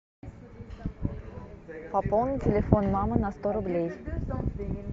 пополни телефон мамы на сто рублей